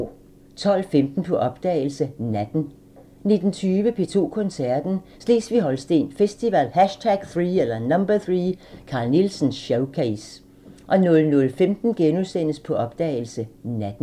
12:15: På opdagelse – Natten 19:20: P2 Koncerten – Slesvig-Holsten Festival #3 – Carl Nielsen showcase 00:15: På opdagelse – Natten *